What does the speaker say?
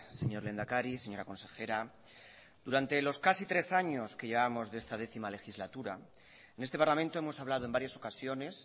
señor lehendakari señora consejera durante los casi tres años que llevamos de esta décimo legislatura en este parlamento hemos hablado en varias ocasiones